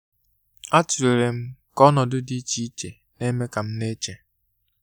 A tulere m ka ọnọdụ di iche iche n'eme kam na-eche.